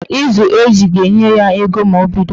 Ịzụ eju ga-enye ya ego ma o bido